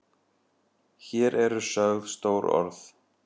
Hér eru sögð stór orð.